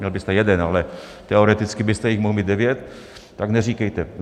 Měl byste jeden, ale teoreticky byste jich mohl mít devět, tak neříkejte.